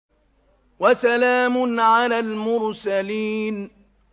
وَسَلَامٌ عَلَى الْمُرْسَلِينَ